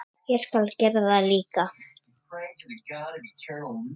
Föndra- teikna- mála- lita- listir